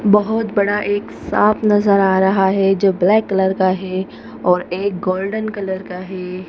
बहुत बड़ा एक सांप नजर आ रहा है जो ब्लैक कलर का है और एक गोल्डन कलर का है।